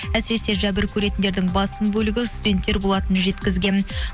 әсіресе жәбір көретіндердің басым бөлігі студенттер болатынын жеткізген